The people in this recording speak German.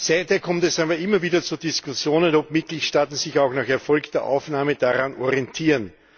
Seither kommt es aber immer wieder zu Diskussionen, ob Mitgliedstaaten sich auch nach erfolgter Aufnahme daran orientieren.